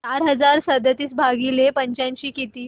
चार हजार सदतीस भागिले पंच्याऐंशी किती